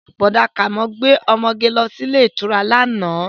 Bọ̀dá Kàmọ́ gbé ọmọge lọ sí ilé ìtura lánàá